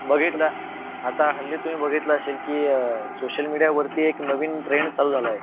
भगीथला आथा हल्ली तुमी भागितले आशिल की अह social media वरती एक नवीन trend चालू झाला आहे